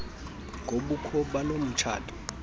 ngobukho balo mtshato